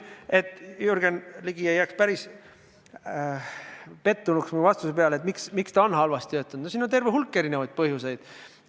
Et Jürgen Ligi ei jääks päris pettunuks mu vastuses küsimusele, et miks see on halvasti töötanud – no siin on terve hulk eri põhjuseid.